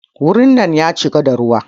Wurin nan ya cika da ruwa.